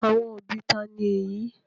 Àwọn òbí ta ni èyí?